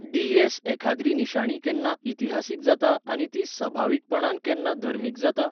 DS. एखाद्री निशाणी केन्ना इतिहासीक जाता आनी ती सभावीकपणान केन्ना धर्मीक जाता?